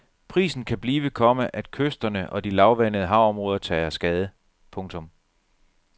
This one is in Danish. Prisen kan blive, komma at kysterne og de lavvandede havområder tager skade. punktum